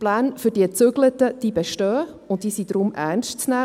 Die Pläne für den Umzug bestehen und sind deshalb ernst zu nehmen.